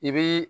I bii